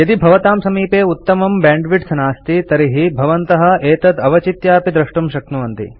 यदि भवतां समीपे उत्तमं बैंडविड्थ नास्ति तर्हि भवन्तः एतत् अवचित्यापि डाउनलोड द्रष्टुं शक्नुवन्ति